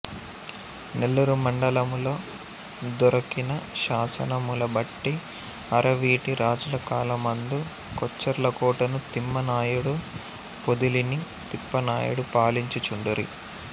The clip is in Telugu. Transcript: నెల్లూరు మండలములో దొరకిన శాసనములబట్టి అరవీటి రాజులకాలమందు కొచ్చెర్లకోటను తిమ్మా నాయుడు పొదిలిని తిప్పానాయుడు పాలించుచుండిరి